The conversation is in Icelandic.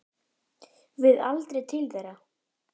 Við aldrei til þeirra.